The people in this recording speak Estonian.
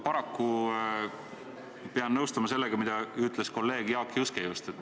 Paraku pean ma nõustuma sellega, mida ütles kolleeg Jaak Juske.